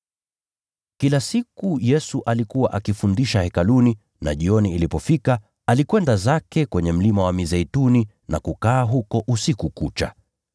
Kila siku Yesu alikuwa akifundisha Hekaluni, na jioni ilipofika, alikwenda zake kwenye Mlima wa Mizeituni na kukaa huko usiku kucha.